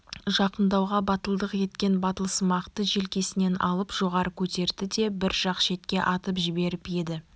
жақындауға батылдық еткен батылсымақты желкесінен алып жоғары көтерді де бір жақ шетке атып жіберіп еді